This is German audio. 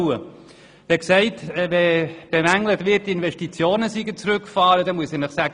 Es wird zudem bemängelt, dass die Investitionen zurückgefahren wurden.